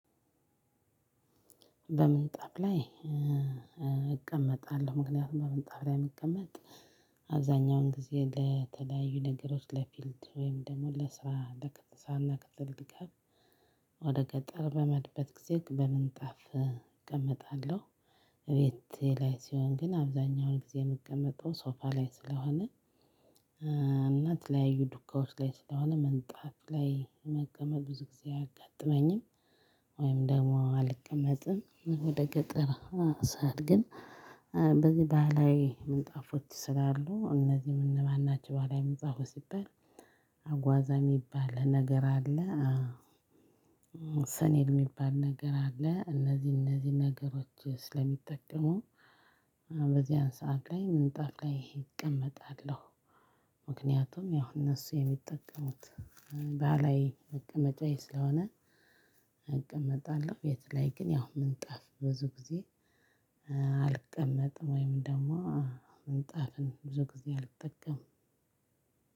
በምንጣፍ ላይ እቀመጣለሁ። ምክንያቱም በምንጣፍ ላይ የሚቀመጥ አብዛኛውን ጊዜ ለተለያዩ ነገሮች ለፊልድ ወይም ደግሞ ለስራ ክፍለ አገር ድጋፍ ወደ ገጠር በምሄድበት ጊዜ በምንጣፍ እቀመጣለሁ። ቤቴ ላይ ሲሆን ግን አብዛኛውን ጊዜ የምቀመጠው ሶፋ ላይ ስለሆነ እና የተለያዩ ዱካዎች ላይ ስለሆነ ምንጣፍ ላይ መቀመጥ ብዙ ጊዜ አያጋጥመኝም ወይም ደግሞ አልቀመጥም ወደ ገጠር ሳል ግን በዚህ ባህላዊ ምንጣፎች ስላሉ እነዚህም እነማን ናችሁ በኋላ የመጽሐፉ ሲባል አጓዛ የሚባል ነገር አለ ሰኔድ የሚባል ነገር አለ እነዚህ እነዚህ ነገሮች ስለሚጠቀሙ በዛን ሰዓት ላይ ምንጣፍ ላይ እቀመጣለው። ምክንያቱም ያው እነሱ የሚጠቀሙት ባህላዊ መቀመጫ ስለሆነ እቀመጣለሁ ቤት ላይ ግን ያው ምንጣፍ ብዙ ጊዜ አልቀመጥም ወይም ደግም ምንጣፍን ብዙ ጊዜ አልጠቀምም